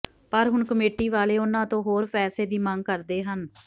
ਪਰ ਹੁਣ ਕਮੇਟੀ ਵਾਲੇ ਉਹਨਾਂ ਤੋਂ ਹੋਰ ਪੈਸੇ ਦੀ ਮੰਗ ਕਰਦੇ ਹਨ